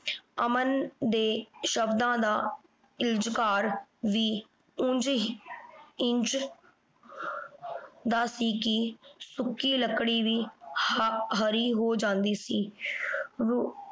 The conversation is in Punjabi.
ਅਮਨ ਦੇ ਸ਼ਬਦਾਂ ਦਾ ਵੀ ਉਂਝ ਹੀ ਇੰਝ ਦਾ ਸੀ ਕਿ ਸੁੱਕੀ ਲੱਕੜੀ ਵੀ ਹਰ ਹਰੀ ਹੋ ਜਾਂਦੀ ਸੀ।